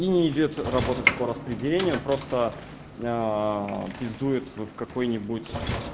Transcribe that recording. и не идёт работать по распределению просто пиздует в какой-нибудь